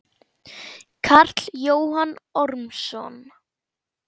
Karl Jóhann Ormsson